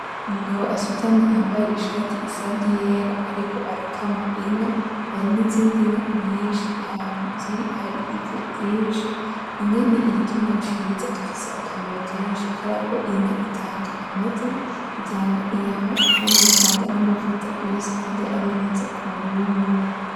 Umugabo asutamye yambaye Ishati isa nk'iyera ariko arakama inka, hari n'izindi nka nyinshi ahantu ziri hari ivu ryinshi .Inka n'igitungwa ciza gifise akamaro kenshi ,kuberako Inka itanga amata ,itanga inyama, Kandi igatanga n'amavuta yose kandi ari meza kw'umuntu.